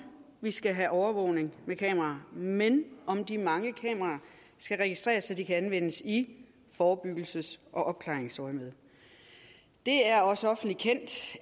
vi skal have overvågning med kameraer men om de mange kameraer skal registreres så de kan anvendes i forebyggelses og opklaringsøjemed det er også offentligt kendt